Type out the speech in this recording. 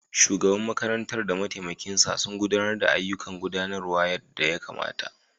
Shugaban makarantar da mataimakinsa sun gudanar da ayyukan gudanarwa yadda ya kamata.